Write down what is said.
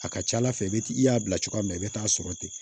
A ka ca ala fɛ i b'i y'a bila cogoya min na i bɛ taa sɔrɔ ten